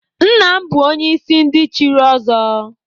Nna m bụ onye isi ndị chiri ọzọ.